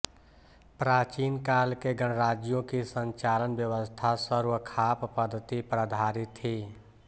प्राचीन काल के गणराज्यों की संचालन व्यवस्था सर्वखाप पद्धति पर आधारित थी